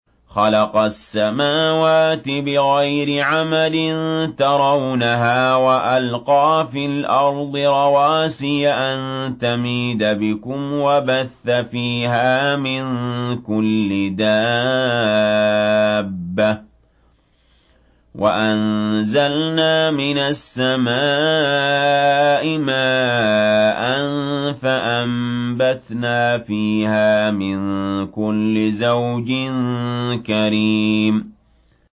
خَلَقَ السَّمَاوَاتِ بِغَيْرِ عَمَدٍ تَرَوْنَهَا ۖ وَأَلْقَىٰ فِي الْأَرْضِ رَوَاسِيَ أَن تَمِيدَ بِكُمْ وَبَثَّ فِيهَا مِن كُلِّ دَابَّةٍ ۚ وَأَنزَلْنَا مِنَ السَّمَاءِ مَاءً فَأَنبَتْنَا فِيهَا مِن كُلِّ زَوْجٍ كَرِيمٍ